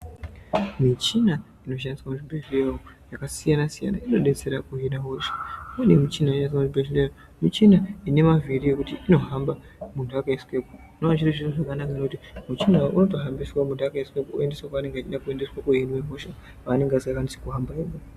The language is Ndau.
Michina inoshandiswa muzvibhehleya umwu yakasiyana siyana inodetsera kuhina hosha, imweni michina inoiswa muchibhedhleya michina inemavhiri yekuti inohamba muntu akaiswemo, zvinonga zviri zviro zvakanaka ngekuti muchina uyu unotohamba muntu akaiswemwo oendeswa kwanenge achida kuhinwa hosha kwaanenge asingakwanisi kuhamba ega.